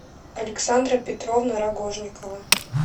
александра петровна рогожникова